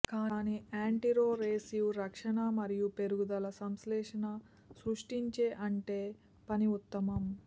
కానీ యాంటీరొరెసివ్ రక్షణ మరియు పెరుగుదల సంశ్లేషణ సృష్టించే అంటే పని ఉత్తమం